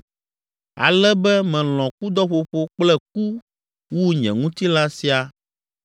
Ale be melɔ̃ kudɔƒoƒo kple ku wu nye ŋutilã sia.